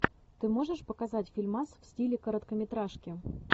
ты можешь показать фильмас в стиле короткометражки